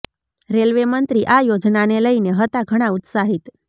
railway મંત્રી આ યોજનાને લઈને હતા ઘણા ઉત્સાહિત